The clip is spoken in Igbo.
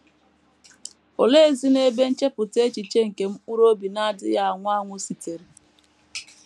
Oleezinụ ebe nchepụta echiche nke mkpụrụ obi na - adịghị anwụ anwụ sitere?